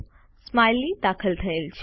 smiley દાખલ થયેલ છે